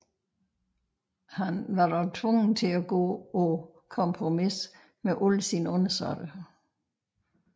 Han var dog tvunget til at gå på kompromis med sine undersåtter